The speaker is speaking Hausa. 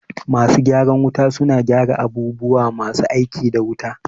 Masu gyaran wuta suna gyara abubuwa masu aiki da wuta